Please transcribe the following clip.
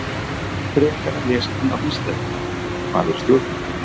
Frekara lesefni á Vísindavefnum: Hvað eru stjórnmál?